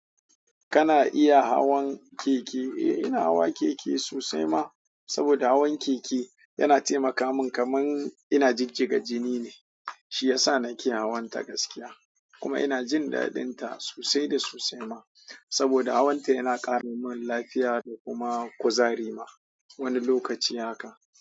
Kana iya hawan keke? Eh, ina hawa keke sosai ma. Saboda hawan keke yana taimaka min kamar ina jigjiga jini ne. Shi yasa na ke hawan ta gaskiya, kuma ina jin daɗinta sosai da sosai ma. Saboda hawanta yana ƙara min lafiya da kuma kuzari ma. Wani lokaci haka.